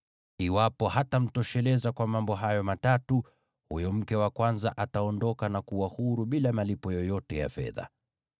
Iwapo hatamtosheleza kwa mambo hayo matatu, huyo mke wa kwanza ataondoka na kuwa huru bila malipo yoyote ya fedha.